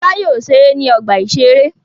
Fọlá yóò ṣeré ní ọgbà-ìṣeré.